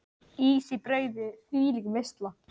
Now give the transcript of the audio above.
Ís í brauði, þvílík veisla.